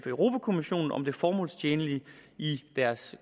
europa kommissionen om det formålstjenlige i deres